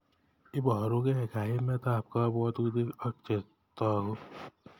Iborukei kaimet ab kabwatutik ak chetogu.